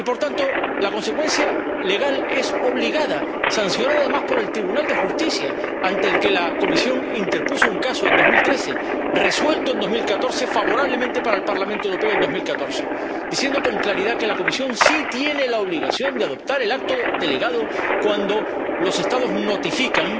Y por tanto, la consecuencia legal es obligada, sancionada además por el Tribunal de Justicia, ante el que la Comisión interpuso un asunto en 2013, resuelto en 2014 favorablemente para el Parlamento Europeo en 2014, diciendo con claridad que la Comisión sí tiene la obligación de adoptar el acto delegado cuando los Estados notifican